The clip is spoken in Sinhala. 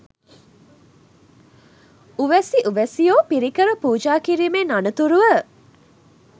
උවැසි උවැසියෝ පිරිකර පූජා කිරීමෙන් අනතුරුව